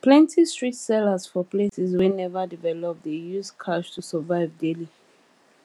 plenty street sellers for places wey never develop dey use cash to survive daily